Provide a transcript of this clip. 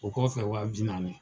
O kɔfɛ wa bi naani.